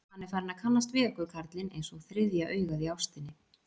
Hann er farinn að kannast við okkur, karlinn, einsog þriðja augað í ástinni.